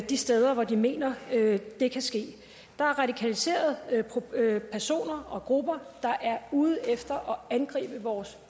de steder hvor de mener det kan ske der er radikaliserede personer og grupper der er ude efter at angribe vores